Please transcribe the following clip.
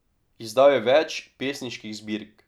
Izdal je več pesniških zbirk.